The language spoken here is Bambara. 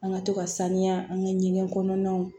An ka to ka saniya an ka ɲɛgɛn kɔnɔnaw